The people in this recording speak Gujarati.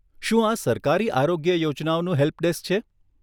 શું આ સરકારી આરોગ્ય યોજનાઓનું હેલ્પ ડેસ્ક છે?